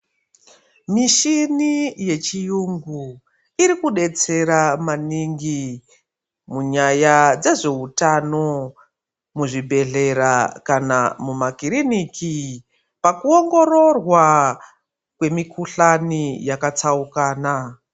Mishini yechiyungu iri kudetsera maningi munyaya dzezveutano muzvibhedhlera kana mumakiriniki pakuongororwa kwemikuhlani yakatsaukana.